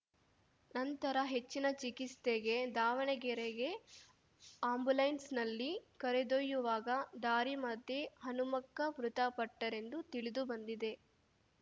ನಂತರ ಹೆಚ್ಚಿನ ಚಿಕಿತ್ಸೆಗೆ ದಾವಣಗೆರೆಗೆ ಆಂಬುಲೆನ್ಸ್‌ನಲ್ಲಿ ಕರೆದೊಯ್ಯುವಾಗ ದಾರಿ ಮಧ್ಯೆ ಹನುಮಕ್ಕ ಮೃತಪಟ್ಟರೆಂದು ತಿಳಿದು ಬಂದಿದೆ